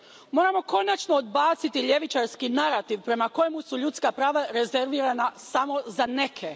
Moramo konačno odbaciti ljevičarski narativ prema kojemu su ljudska prava rezervirana samo za neke.